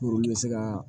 Olu bɛ se ka